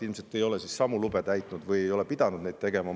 Ilmselt te ei ole samu lube täitnud või ei ole pidanud neid tegema.